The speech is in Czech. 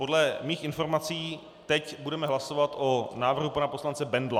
Podle mých informací teď budeme hlasovat o návrhu pana poslance Bendla.